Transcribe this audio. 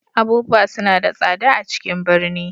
Abubuwa suna da tsada a ciƙn ɓirni.